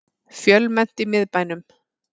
Fjölmennt í miðbænum